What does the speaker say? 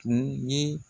Tun ye